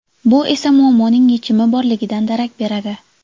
Bu esa muammoning yechimi borligidan darak beradi.